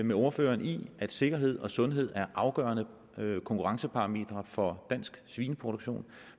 med ordføreren i at sikkerhed og sundhed er afgørende konkurrenceparametre for dansk svineproduktion